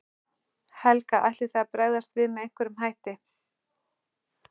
Helga: Ætlið þið að bregðast við með einhverjum hætti?